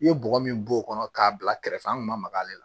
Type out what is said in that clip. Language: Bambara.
I ye bɔgɔ min b'o kɔnɔ k'a bila kɛrɛfɛ an kun ma maga ale la